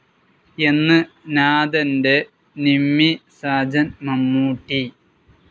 എന്ന് നാഥന്റെ നിമ്മി സാജൻ മമ്മൂട്ടി